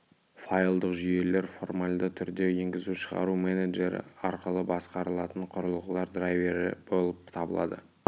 файлдық жүйелер формальды түрде енгізу-шығару менеджері арқылы басқарылатын құрылғылар драйвері болып табылады